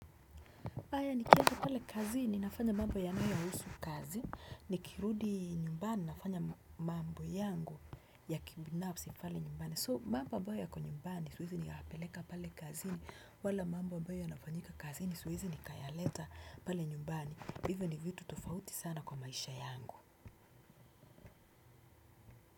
Haya ni kiwa pale kazini nafanya mambo yanayo husu kazi. Ni kirudi nyumbani nafanya mambo yangu ya kibinafsi pale nyumbani. So mambo ambayo yako nyumbani siwezi ni kayapeleka pale kazini wala mambo ambayo yafanyika kazini suwezi ni kayaleta pale nyumbani. Hivyo ni vitu tofauti sana kwa maisha yangu.